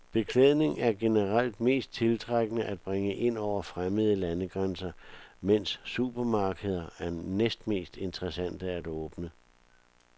Beklædning er generelt mest tiltrækkende at bringe ind over fremmede landegrænser, mens supermarkeder er næstmest interessante at åbne.